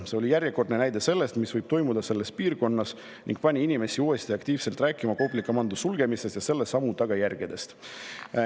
See oli järjekordne näide, mis võib toimuda selles piirkonnas, ning see pani inimesi uuesti aktiivselt rääkima Kopli komando sulgemisest ja selle sammu tagajärgedest.